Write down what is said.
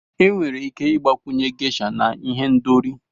Enwere ike ịgbakwunye Gesha na ihendori.